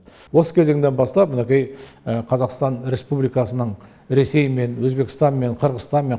осы кезеңнен бастап мінекей қазақстан республикасының ресеймен өзбекстанмен қырғызстанмен